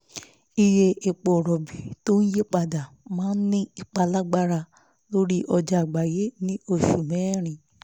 iye epo rọ̀bì tó ń yí padà máa ń ní ipa lágbára lórí ọjà àgbáyé ní oṣù mẹ́rin